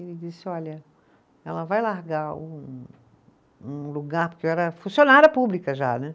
Ele disse, olha, ela vai largar um um lugar, porque eu era funcionária pública já, né?